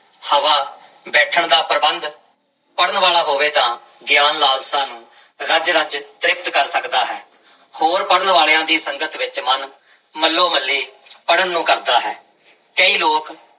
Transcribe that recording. ਹਵਾ, ਬੈਠਣ ਦਾ ਪ੍ਰਬੰਧ ਪੜ੍ਹਨ ਵਾਲਾ ਹੋਵੇ ਤਾਂ ਗਿਆਨ ਲਾਲਸਾ ਨੂੰ ਰਜ ਰਜ ਤ੍ਰਿਪਤ ਕਰ ਸਕਦਾ ਹੈ, ਹੋਰ ਪੜ੍ਹਨ ਵਾਲਿਆਂ ਦੀ ਸੰਗਤ ਵਿੱਚ ਮਨ ਮੱਲੋ ਮੱਲੀ ਪੜ੍ਹਨ ਨੂੰ ਕਰਦਾ ਹੈ, ਕਈ ਲੋਕ